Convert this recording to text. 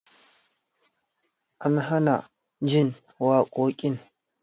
An hana jin waƙoƙin